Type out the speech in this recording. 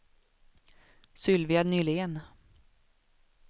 Sylvia Nylén